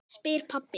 spyr pabbi.